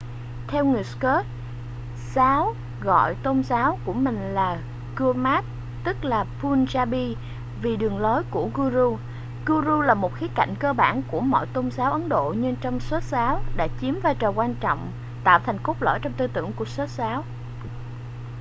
người theo sikh giáo gọi tôn giáo của mình là gurmat tức là punjabi vì đường lối của guru guru là một khía cạnh cơ bản của mọi tôn giáo ấn độ nhưng trong sikh giáo đã chiếm vai trò quan trọng tạo thành cốt lõi trong tư tưởng của sikh giáo